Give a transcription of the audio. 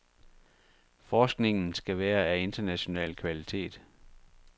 Forskningen skal være af international kvalitet.